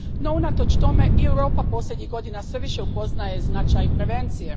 No, unatoč tome i Europa posljednjih godina sve više upoznaje značaj prevencije.